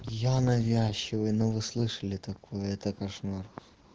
я навязчивый но вы слышали такое это кошмар